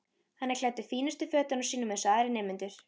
Hann er klæddur fínustu fötunum sínum eins og aðrir nemendur.